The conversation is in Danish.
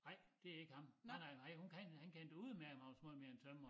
Nej det ikke ham nej nej nej hun han kendte udemærket Magnus måj mere en tømrer